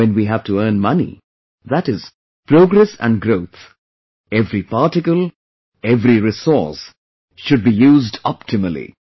And when we have to earn money, that is, progress and growth, every particle, every resource, should be used optimally